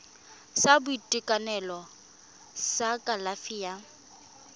sa boitekanelo sa kalafi ya